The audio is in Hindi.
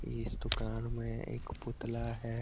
इस दुकान में एक पुतला है।